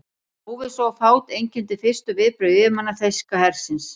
Óvissa og fát einkenndi fyrstu viðbrögð yfirmanna þýska hersins.